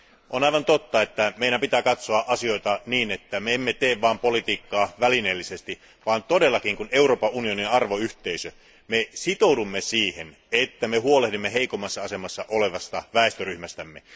On aivan totta, että meidän pitää katsoa asioita niin, ettemme vain tee politiikkaa välineellisesti, vaan että koska Euroopan unioni on arvoyhteisö, me todellakin sitoudumme siihen, että me huolehdimme heikoimmassa asemassa olevasta väestöryhmästämme.